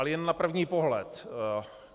Ale jen na první pohled.